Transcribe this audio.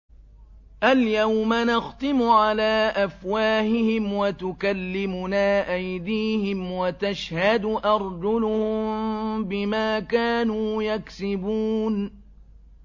الْيَوْمَ نَخْتِمُ عَلَىٰ أَفْوَاهِهِمْ وَتُكَلِّمُنَا أَيْدِيهِمْ وَتَشْهَدُ أَرْجُلُهُم بِمَا كَانُوا يَكْسِبُونَ